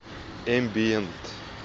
эмбиент